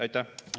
Aitäh!